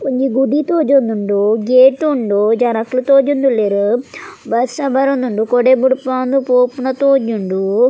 ಒಂಜಿ ಗುಡಿ ತೋಜೊಂದುಂಡು ಗೇಟ್ ಉಂಡು ಜನೊಕುಲು ತೋಜೊಂದುಲ್ಲೆರ್ ಬರ್ಸ ಬರೊಂದುಂಡು ಕೊಡೆ ಬುಡ್ಪಾದ್ ಪೋಪುನ ತೋಜುಂಡ್.